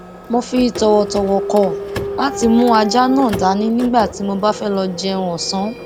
mo fi tòwòtòwò kò láti mú ajá náà dání nígbà tí mo bá fé lọ jẹun òsán